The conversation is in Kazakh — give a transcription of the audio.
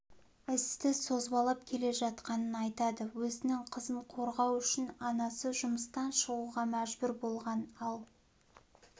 істі созбалап келе жатқанын айтады өзінің қызын қорғау үшін анасы жұмыстан шығуға мәжбүр болған ал